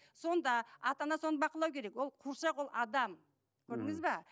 сонда ата ана соны бақылау керек ол қуыршақ ол адам мхм көрдіңіз бе